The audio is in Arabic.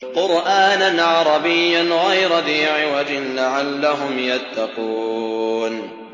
قُرْآنًا عَرَبِيًّا غَيْرَ ذِي عِوَجٍ لَّعَلَّهُمْ يَتَّقُونَ